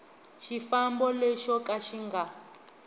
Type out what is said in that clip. xifambo lexo ka xi nga